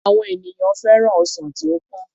Àwọn ènìyàn féràn ọsàn tí ó pọ́n